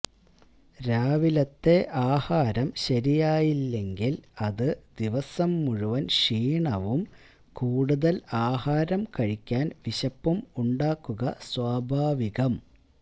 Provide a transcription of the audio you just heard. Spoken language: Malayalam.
രാവിലത്തെ ആഹാരം ശരിയായില്ലെങ്കില് അത് ദിവസം മുഴുവന് ക്ഷീണവും കൂടുതല് ആഹാരം കഴിക്കാന് വിശപ്പും ഉണ്ടാക്കുക സ്വാഭാവികം